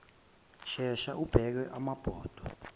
shesha ubeke amabhodwe